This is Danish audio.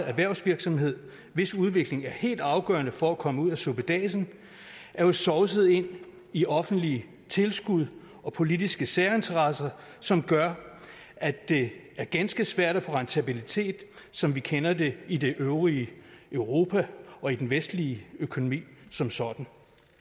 erhvervsvirksomheder hvis udvikling er helt afgørende for at man kommer ud af suppedasen er jo sovset ind i offentlige tilskud og politiske særinteresser som gør at det er ganske svært at få rentabilitet som vi kender det i det øvrige europa og i den vestlige økonomi som sådan